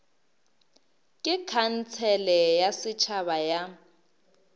ke khansele ya setšhaba ya